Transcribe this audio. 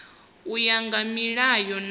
u ya nga milayo na